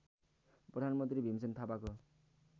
प्रधानमन्त्री भीमसेन थापाको